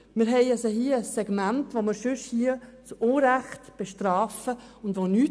Hier haben wir ein Segment, das wir zu Unrecht bestrafen würden.